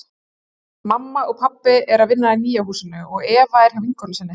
Mamma og pabbi eru að vinna í nýja húsinu og Eva er hjá vinkonu sinni.